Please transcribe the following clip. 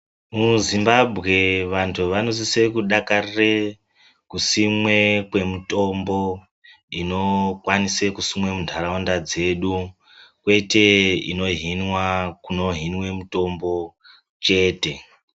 MuZimbabwe vantu vanosise kudakarire kusimwe kwemitombo inokwanise kusimwe munharaunda dzedu, kwete inohinwa kuno hinwe mitombo chete.